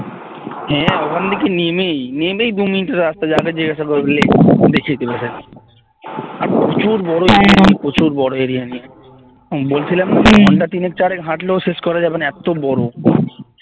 হ্যাঁ ওখান থেকে নেমেই নেমেই দু মিনিটের রাস্তা যাকে জিজ্ঞাসা করবে দেখিয়ে দেবে প্রচুর বড় area নিয়ে প্রচুর বড় area নিয়ে বলছিলাম ঘণ্টা তিন চারেক হাঁটলেও শেষ করা যাবেনা এত বড়